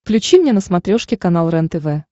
включи мне на смотрешке канал рентв